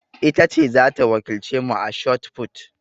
Ita ce za ta wakilce mu a shotput.